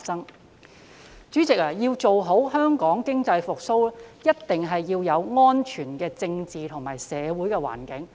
代理主席，要做好香港經濟復蘇的工作，一定要有安全的政治及社會環境。